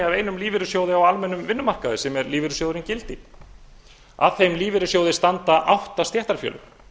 af einum lífeyrissjóði á almennum vinnumarkaði sem er lífeyrissjóðurinn gildi af þeim lífeyrissjóði standa átta stéttarfélög